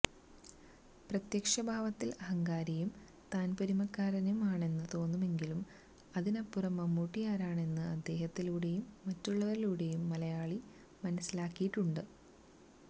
പ്രത്യക്ഷഭാവത്തില് അഹങ്കാരിയും താന്പോരിമക്കാരനും ആണെന്നു തോന്നുമെങ്കിലും അതിനപ്പുറം മമ്മൂട്ടിയാരാണെന്ന് അദ്ദേഹത്തിലൂടെയും മറ്റുള്ളവരിലൂടെയും മലയാളി മനസിലാക്കിയിട്ടുണ്ട്